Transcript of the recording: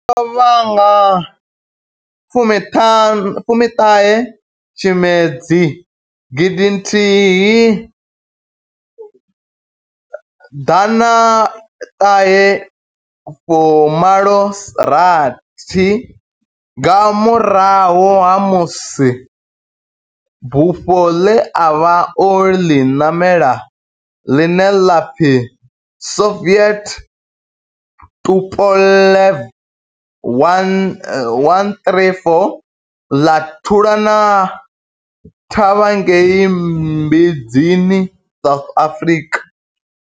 O lovha nga fumi ṱahe Tshimedzi gidi nthihi ḓana ṱahe fu malo rathi nga murahu ha musi bufho ḽe a vha o ḽi ṋamela, ḽine ḽa pfi Soviet Tupolev 134 ḽa thulana thavha ngei Mbuzini, South Africa.